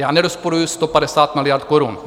Já nerozporuji 150 miliard korun.